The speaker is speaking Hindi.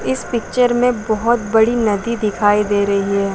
इस पिक्चर में बहुत बड़ी नदी दिखाई दे रही हैं।